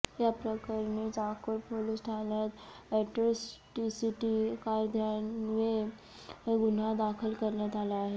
याप्रकरणी चाकूर पोलीस ठाण्यात ऍट्रॉसिटी कायद्यान्वये गुन्हा दाखल करण्यात आला आहे